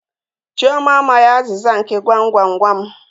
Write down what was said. Chioma amaghi azịza nke gwam gwam gwam.